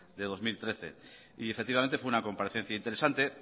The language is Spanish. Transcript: de dos mil trece y efectivamente fue una comparecencia interesante